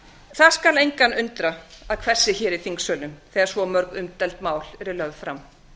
það skal engan undra að hvessi hér í þingsölum þegar svo mörg umdeild mál eru lögð fram